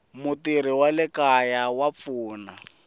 mutirhi wa le kaya a